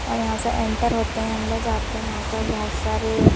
और यहां से एंटर होते हैं अंदर जाते हैं यहां पर बहुत सारे--